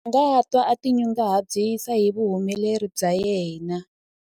a nga twa a tinyungubyisa hi vuhumeleri bya yena